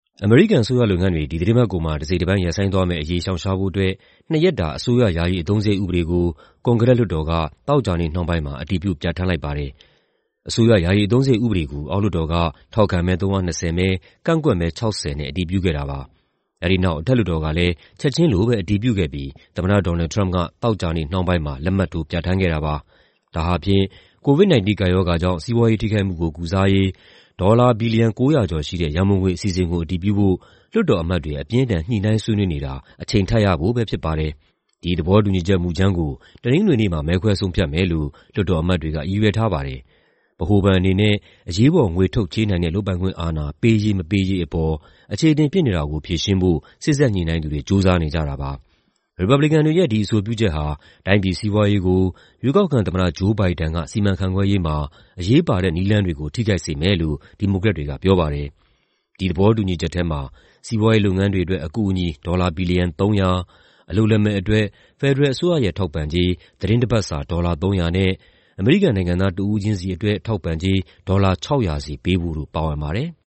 အမေရိကန်အစိုးရလုပ်ငန်းတွေ ဒီသီတင်းပတ်ကုန်မှာ တစိတ်တပိုင်း ရပ်ဆိုင်းသွားမယ့်အရေး ရှောင်ရှားဖို့အတွက် နှစ်ရက်တာ ယာယီအသုံးစရိတ် ဥပဒေကို ကွန်ဂရက်လွှတ်တော်က သောကြာနေ့နှောင်းပိုင်းမှာ အတည်ပြု ပြဋ္ဌာန်းခဲ့တယ်လို့ AP သတင်းမှာ ဖော်ပြထားပါတယ်။ အစိုးရ ယာယီအသုံးစရိတ် ဥပဒေကို အောက်လွှတ်တော်က ထောက်ခံမဲ ၃၂၀ မဲ၊ ကန့်ကွက်မဲ ၆၀ နဲ့ အတည်ပြုခဲ့ပါတယ်။ အဲဒီနောက် အထက်လွှတ်တော်ကလည်း ချက်ချင်းလို အတည်ပြုခဲ့ပြီး သမ္မတ Donald Trump က သောကြာနေ့နှောင်းပိုင်းမှာ လက်မှတ်ထိုး ပြဋ္ဌာန်းခဲ့တာပါ။ ဒါဟာ COVID-19 ကပ်ရောဂါကြောင့် စီးပွားရေးထိခိုက်မှုကို ကုစားရေး ဒေါ်လာ ဘီလီယံ ၉၀၀ ကျော်ရှိတဲ့ ရန်ပုံငွေအစီအစဉ်ကို အတည်ပြုရေး လွှတ်တော်အမတ်တွေ အပြင်းအထန် ညှိနှိုင်းဆွေးနွေးနေတာ အချိန်ထပ်ရဖို့ပဲ ဖြစ်ပါတယ်။ ဒီသဘောတူညီချက်မူကြမ်းကို တနင်္ဂနွေနေ့မှာ မဲခွဲဆုံးဖြတ်မယ်လို့ လွှတ်တော်အမတ်တွေက ရည်ရွယ်ထားပါတယ်။ ဗဟိုဘဏ်အနေနဲ့ အရေးပေါ် ငွေထုတ်ချေးနိုင်တဲ့ လုပ်ပိုင်ခွင့်အာဏာ ပေးရေး မပေးရေးအပေါ် အချေအတင် ဖြစ်နေတာကို ဖြေရှင်းဖို့ စေ့စပ်ညှိနှိုင်းသူတွေ ကြိုးစားနေကြတာပါ။ ရီပတ်ဘလစ်ကန်တွေရဲ့ ဒီအဆိုပြုချက်ဟာ တိုင်းပြည်စီးပွားရေးကို ရွေးကောက်ခံသမ္မတ Joe Biden စီမံခန့်ခွဲရေးမှာ အရေးပါတဲ့ နည်းလမ်းတွေကို ထိခိုက်စေမယ်လို့ ဒီမိုကရက်တွေက ပြောပါတယ်။ ဒီသဘောတူညီချက်ထဲမှာ စီးပွားရေးလုပ်ငန်းတွေအတွက် အကူအညီ ဒေါ်လာ ဘီလီယံ ၃၀၀၊ အလုပ်လက်မဲ့အတွက် ဖက်ဒရယ်အစိုးရရဲ့ ထောက်ပံ့ကြေး သီတင်းတပတ်အတွက် ဒေါ်လာ ၃၀၀ နဲ့ အမေရိကန်နိုင်ငံသား တဦးချင်းစီအတွက် ထောက်ပံ့ကြေး ဒေါ်လာ ၆၀၀ စီပေးဖို့တို့ ပါဝင်ပါတယ်။